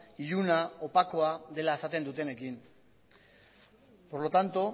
iluna opakoa dela esaten dutenekin por lo tanto